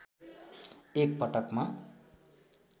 एक पटकमा